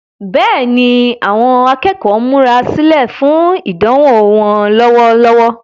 Bẹ́ẹ̀ni, àwọn akẹ́kọ̀ọ́ ń múra sílẹ̀ fún ìdánwò wọn lọ́wọ́lọ́wọ́.